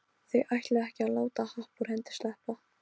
Þau ætluðu ekki að láta happ úr hendi sleppa.